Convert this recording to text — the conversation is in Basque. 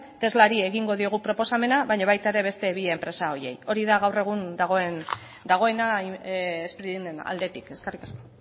teslari egingo diogu proposamena baino baita ere bi enpresa horiei hori da gaur egun dagoena spriren aldetik eskerrik asko